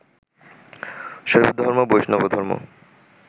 শৈবধর্ম, বৈষ্ণবধর্ম